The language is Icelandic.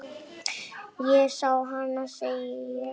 Ég sá hana, segi ég.